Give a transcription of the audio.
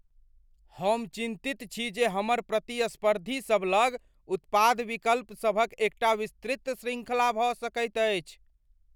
हम चिन्तित छी जे हमर प्रतिस्पर्धीसभ लग उत्पाद विकल्पसभक एकटा विस्तृत शृङ्खला भऽ सकैत अछि।